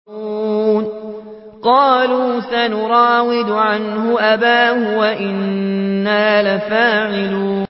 قَالُوا سَنُرَاوِدُ عَنْهُ أَبَاهُ وَإِنَّا لَفَاعِلُونَ